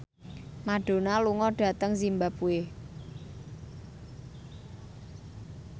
Madonna lunga dhateng zimbabwe